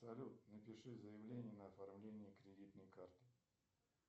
салют напиши заявление на оформление кредитной карты